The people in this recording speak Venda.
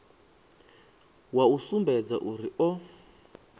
wa u sumbedza uri o